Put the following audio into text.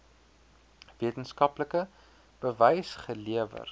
wetenskaplike bewys gelewer